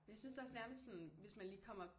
Jeg synes også nærmest sådan hvis man lige kommer